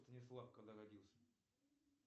станислав когда родился